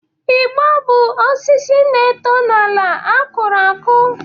Igbo bụ osisi na-eto n'ala a kụrụ akụ